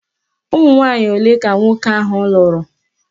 Ụmụnwanyị ole ka nwoke ahụ lụrụ?